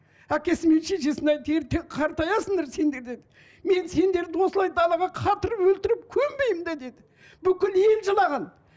әкесі мен шешесіне ертең қартаясыңдар сендер деді мен сендерді осылай далаға қатырып өлтіріп көмбеймін де дейді бүкіл ел жылаған